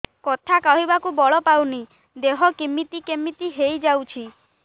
କଥା କହିବାକୁ ବଳ ପାଉନି ଦେହ କେମିତି କେମିତି ହେଇଯାଉଛି